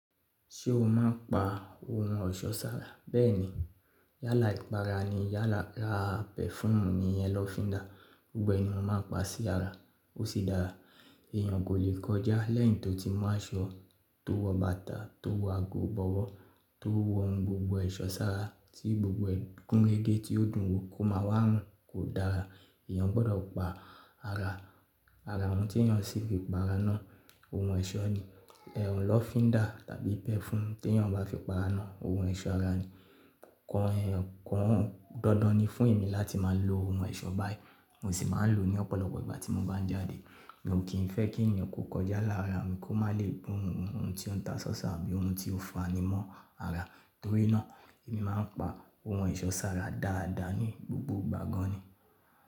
Ṣé o má pa ohun ọ̀ṣọ́ sára? Bẹ́ẹ̀ni yálà ìpara ni, yálà ra pẹ̀fúùmù ni iyén lọ́ fi dàá. Gbogbo ẹni mó máa pa sí ara, ó sì dára. Èèyàn kò lè kọjá lẹ́yìn tó ti mọ́ aṣọ, tó wọ bàtà, tó wọ ago, bọ̀wọ̀, tó wọ ohun gbogbo ẹ̀ṣọ́ sára tí gbogbo ẹgbẹ́ kúnrégè tí ó dùn ún kó máa wá run, kò dára. Ẹ̀yàn gbọdọ̀ pa ara. Ara ohun tí ẹ̀yàn ṣe fi pa ara náà, ohun ẹ̀ṣọ́ ni. Ẹ̀họ̀n lọ́ fi dàá tàbí pẹ̀fúùmù tí ẹ̀yàn bá fi pa ara náà, ohun ẹ̀ṣọ́ ara ni. Kàn ẹ́, kàn ọ́. Dandan ni fún èmi láti má a lo ohun ẹ̀ṣọ́ báyìí, mo sì máa ń lò ó ní ọ̀pọ̀lọpọ̀ ìgbà tí mo bá ń jáde. Èmi ò kí ń fẹ́ kí ẹ̀yàn kó kọjá lára mi kó má lè bú hun ohun tí ó ń ta sọ́ṣà àbí ohun tí ó fani mọ́ ara. Torí náà èmi máa ń pa ohun ẹ̀ṣọ́ sára dáadáa ni gbogbo ìgbà gan ni.